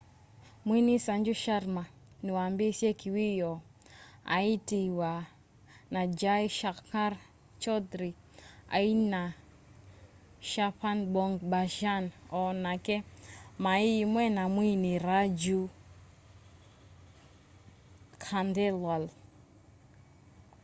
mwini sanju sharma ni waambiisye kiwiyoo aatiiwa ni jai shankar choudhary aina 'cchhapan bhog bhajan o nake mai imwe na mwini raju khandelwal